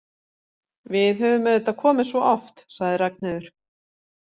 Við höfum auðvitað komið svo oft, sagði Ragnheiður.